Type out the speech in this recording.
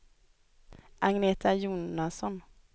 Agneta Jonasson